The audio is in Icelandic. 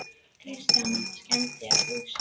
Kristján: En skemmdir á húsum?